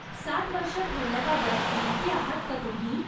सात वर्ष ठेवण्याबाबत नक्की आहात का तुम्ही?